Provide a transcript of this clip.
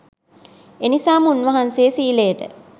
එනිසාම උන්වහන්සේ සීලයට